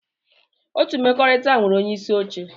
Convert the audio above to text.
Otu mkpakọrịta nwere onyeisi oche.